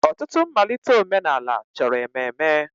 Ọtụtụ mmalite omenala chọrọ ememe.